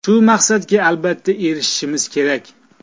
Shu maqsadga albatta erishimiz kerak.